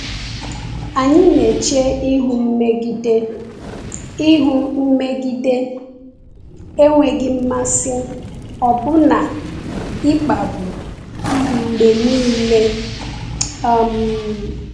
Anyị na-eche ihu mmegide, ihu mmegide, enweghị mmasị, ọbụna ịkpagbu, mgbe niile. um